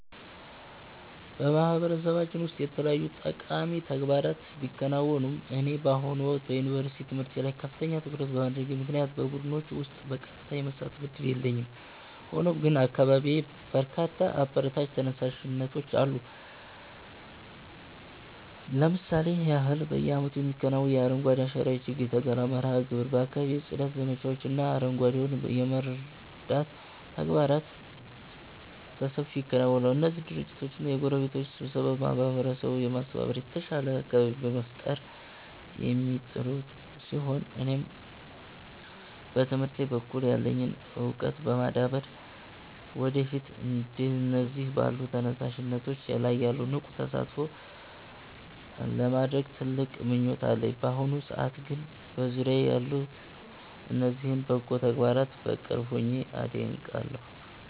በማህበረሰባችን ውስጥ የተለያዩ ጠቃሚ ተግባራት ቢከናወኑም፣ እኔ በአሁኑ ወቅት በዩኒቨርሲቲ ትምህርቴ ላይ ከፍተኛ ትኩረት በማድረጌ ምክንያት በቡድኖች ውስጥ በቀጥታ የመሳተፍ ዕድሉ የለኝም። ሆኖም ግን በአካባቢዬ በርካታ አበረታች ተነሳሽነቶች አሉ። ለምሳሌ ያህል፣ በየዓመቱ የሚከናወነው የአረንጓዴ አሻራ የችግኝ ተከላ መርሃ ግብር፣ የአካባቢ ጽዳት ዘመቻዎች እና አረጋውያንን የመርዳት ተግባራት በሰፊው ይከናወናሉ። እነዚህ ድርጅቶችና የጎረቤት ስብስቦች ማህበረሰቡን በማስተባበር የተሻለ አካባቢ ለመፍጠር የሚጥሩ ሲሆን፣ እኔም በትምህርቴ በኩል ያለኝን ዕውቀት በማዳበር ወደፊት እንደነዚህ ባሉ ተነሳሽነቶች ላይ ንቁ ተሳትፎ ለማድረግ ትልቅ ምኞት አለኝ። በአሁኑ ሰዓት ግን በዙሪያዬ ያሉትን እነዚህን በጎ ተግባራት በቅርብ ሆኜ አደንቃለሁ።